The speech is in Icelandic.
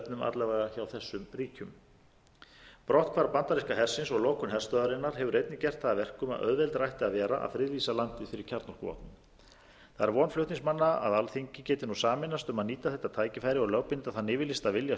alla vega hjá þessum ríkjum brotthvarf bandaríska hersins og lokun herstöðvarinnar hefur einnig gert það að verkum að auðveldara ætti að vera að friðlýsa landið fyrir kjarnorkuvopnum það er von flutningsmanna að alþingi geti nú sameinast um að nýta þetta tækifæri og lögbinda þann yfirlýsta vilja